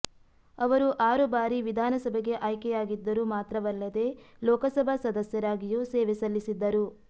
ಅವರು ಆರು ಬಾರಿ ವಿಧಾನಸಭೆಗೆ ಆಯ್ಕೆಯಾಗಿದ್ದರು ಮಾತ್ರವಲ್ಲದೆ ಲೋಕಸಭಾ ಸದಸ್ಯರಾಗಿಯೂ ಸೇವೆ ಸಲ್ಲಿಸಿದ್ದರು